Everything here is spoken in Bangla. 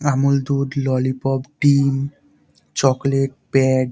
আমুল দুধ ললিপপ ডিম চকলেট প্যাড --